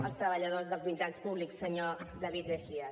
als treballadors dels mitjans públics senyor david mejía